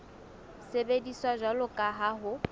sebediswa jwalo ka ha ho